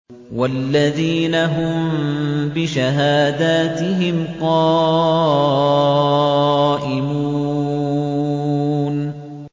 وَالَّذِينَ هُم بِشَهَادَاتِهِمْ قَائِمُونَ